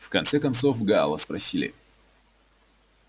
в конце концов гаала спросили